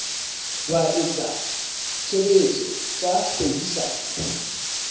wa etsa tshebetso tsa kgwebisano